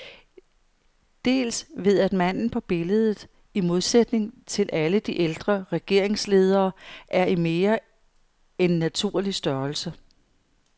Dels ved at manden på billedet, i modsætning til alle de ældre regeringsledere, er i mere end naturlig størrelse.